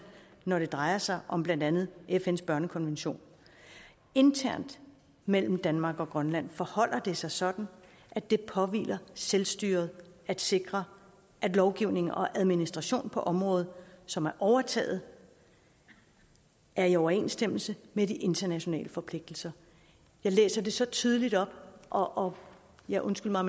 når det drejer sig om blandt andet fns børnekonvention internt mellem danmark og grønland forholder det sig sådan at det påhviler selvstyret at sikre at lovgivningen og administrationen på området som er overtaget er i overensstemmelse med de internationale forpligtelser jeg læser det så tydeligt op og og ja undskyld mig